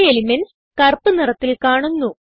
ചില എലിമെന്റ്സ് കറുപ്പ് നിറത്തിൽ കാണുന്നു